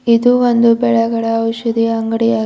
ಇದು ಒಂದು ಬೆಳಗಳ ಔಷಧಿಯ ಅಂಗಡಿಯ--